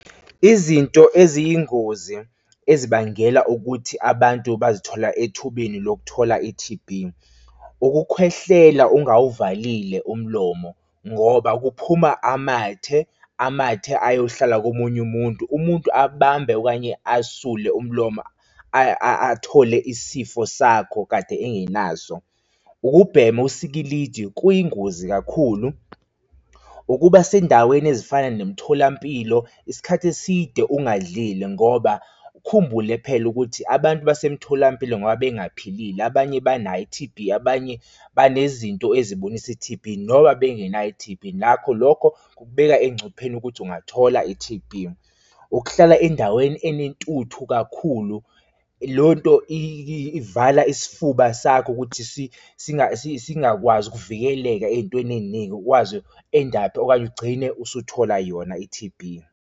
Izinto eziyingozi ezibangela ukuthi abantu bazithola ethubeni lokuthola i-T_B. Ukukhwehlela ungawuvalile umlomo, ngoba kuphuma amathe, amathe ayohlala komunye umuntu, umuntu abambe okanye asule umlomo athole isifo sakho kade engenaso. Ukubhema usikilidi kuyingozi kakhulu, ukuba sendaweni ezifana nemitholampilo isikhathi eside ungadlile ngoba ukhumbule phela ukuthi abantu basemtholampilo ngoba bengaphilile, abanye banayo i-T_B abanye banezinto eziboniso i-T_B noba bengenayo i-T_B nakho lokho kukubeka engcupheni ukuthi ungathola i-T_B. Ukuhlala endaweni enentuthu kakhulu lonto ivala isifuba sakho ukuthi singakwazi ukuvikeleka ey'ntweni ey'ningi ukwazi u-endaphe okanye ugcine usuthola yona i-T_B.